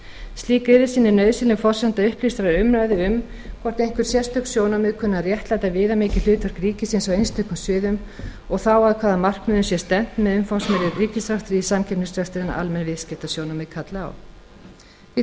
slík yfirsýn er nauðsynleg forsenda upplýstrar umræðu um hvort einhver sérstök sjónarmið kunni að réttlæta viðamikið hlutverk ríkisins á einstökum sviðum og þá að hvaða markmiðum sé stefnt með umfangsmeiri ríkisrekstri í samkeppnisrekstri en almenn viðskiptasjónarmið kalla á þá